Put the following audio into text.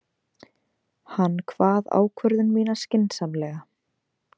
Hann kvað ákvörðun mína skynsamlega.